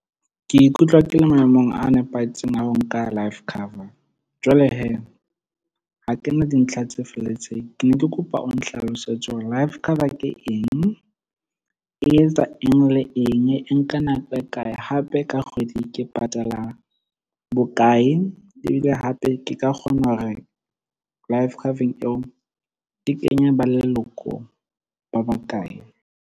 Ke ikutlwa ke le maemong a nepahetseng a ho nka life cover. Jwale ha kena dintlha tse felletseng. Ke ne ke kopa o nhlalosetse hore life cover ke eng, e etsa eng, le eng, e nka nako e kae hape ka kgwedi ke patala bokae. Ebile hape ke ka kgona hore life cover-eng eo di kenye ba leloko ba bakae.